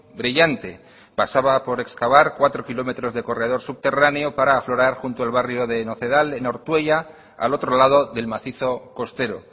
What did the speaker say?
brillante pasaba por escavar cuatro kilómetros de corredor subterráneo para aflorar junto al barrio de nocedal en ortuella al otro lado del macizo costero